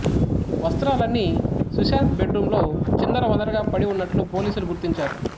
వస్త్రాలన్నీ Sushant bed రూంలో చిందర వందరగా పడి ఉన్నట్లు పోలీసులు గుర్తించారు